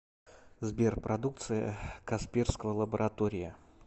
сбер продукция касперского лаборатория